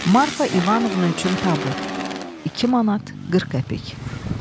Marfa İvanovna üçün tabut 2 manat 40 qəpik.